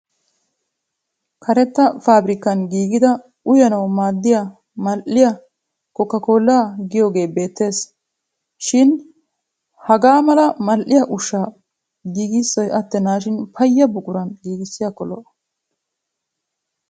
Karetta faabirikkan giigida uyanawu maaddiya mal'iya kookaa koolaa giyogee beettes. Shin hagaa mala mal'iya ushshaa giigissiddi payya buquraara giigissiyakko lo'o.